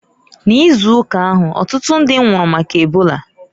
N'ịzụụka ahu, ọtụtụ ndi nwụrụ maka ebola.